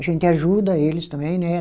A gente ajuda eles também, né?